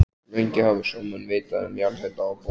Lengi hafa sjómenn vitað um jarðhita á botni